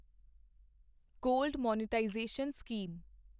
gold monetisation scheme